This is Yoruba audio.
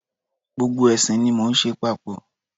Gbogbo ẹ̀sìn ni mo ń ṣe papọ̀.